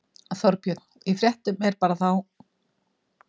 Þorbjörn: Í fréttunum bara þá?